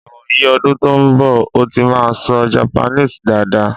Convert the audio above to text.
ìwò yí ọdún tó n bo̩, n ó ti maa sọ Japaníìsì daada